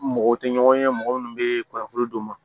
Mɔgɔw tɛ ɲɔgɔn ye mɔgɔ minnu bɛ kunnafoni d'u ma